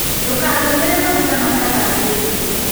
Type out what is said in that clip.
Ndũkahũthĩre magũta matathambĩtĩo